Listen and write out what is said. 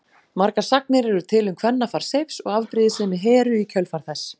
Margar sagnir eru til um kvennafar Seifs og afbrýðisemi Heru í kjölfar þess.